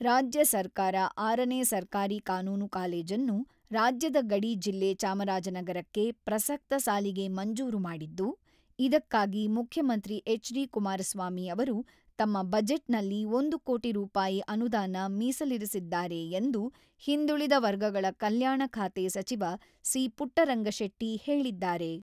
ರಾಜ್ಯ ಸರ್ಕಾರ ಆರನೇ ಸರ್ಕಾರಿ ಕಾನೂನು ಕಾಲೇಜನ್ನು ರಾಜ್ಯದ ಗಡಿ ಜಿಲ್ಲೆ ಚಾಮರಾಜನಗರಕ್ಕೆ ಪ್ರಸಕ್ತ ಸಾಲಿಗೆ ಮಂಜೂರು ಮಾಡಿದ್ದು, ಇದಕ್ಕಾಗಿ ಮುಖ್ಯಮಂತ್ರಿ ಹೆಚ್.ಡಿ.ಕುಮಾರಸ್ವಾಮಿ ಅವರು ತಮ್ಮ ಬಜೆಟ್‌ನಲ್ಲಿ ಒಂದು ಕೋಟಿ ರೂಪಾಯಿ ಅನುದಾನ ಮೀಸಲಿರಿಸಿದ್ದಾರೆ ಎಂದು ಹಿಂದುಳಿದ ವರ್ಗಗಳ ಕಲ್ಯಾಣ ಖಾತೆ ಸಚಿವ ಸಿ.ಪುಟ್ಟರಂಗಶೆಟ್ಟಿ ಹೇಳಿದ್ದಾರೆ.